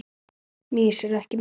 Mýs eru ekki menn